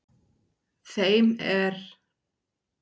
Þeim er